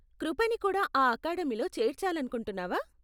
కృపని కూడా ఆ అకాడమీలో చేర్చాలనుకుంటున్నావా?